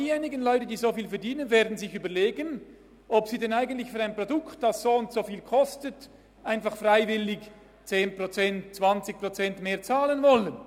Diejenigen aber, die so viel verdienen, werden sich überlegen, ob sie wirklich für ein Produkt, das soundso viel kostet, freiwillig 10, 20 Prozent mehr zahlen wollen.